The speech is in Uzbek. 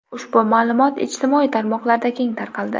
Ushbu ma’lumot ijtimoiy tarmoqlarda keng tarqaldi.